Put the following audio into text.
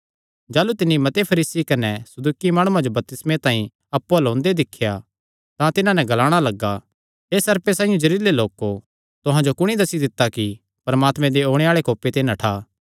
जाह़लू तिन्नी मते फरीसी कने सदूकी माणुआं जो बपतिस्मे तांई अप्पु अल्ल ओंदे दिख्या तां तिन्हां नैं ग्लाणा लग्गा हे सर्पे साइआं जेहरिलै लोको तुहां जो कुणी दस्सी दित्ता कि परमात्मे दे ओणे आल़े कोपे ते नठा